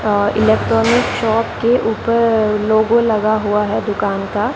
और electronic shop के ऊपर लोगो लगा हुआ है दुकान का।